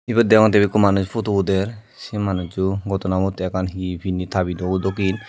ibet deyongotte ekko manuj photo uder se manujco gottonabot te ekkan he pinne tabit o dokken.